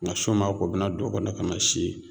Ŋa su maa ko u bi na don o kɔnɔ ka na si ye.